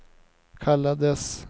kallades